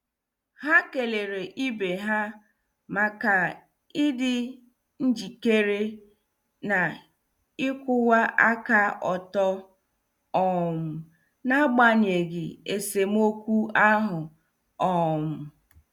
Ha kelere ibe ha maka ịdị njikere na ịkwụwa aka ọtọ um n'agbanyeghị esemokwu ahụ. um